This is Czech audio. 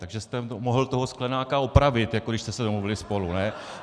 Takže jste mohl toho Sklenáka opravit, jako když jste se domluvili spolu.